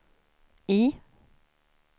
I